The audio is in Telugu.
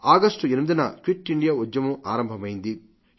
ఆగస్టు 8న క్విట్ ఇండియా ఉద్యమం ఆరంభమైంది